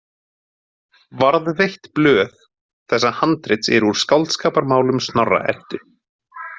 Varðveitt blöð þessa handrits eru úr Skáldskaparmálum Snorra- Eddu.